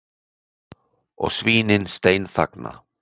Og svínin steinþagna.